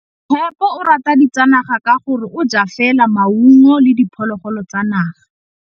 Tshekô o rata ditsanaga ka gore o ja fela maungo le diphologolo tsa naga.